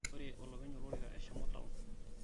ore olopeny olorika eshomo taon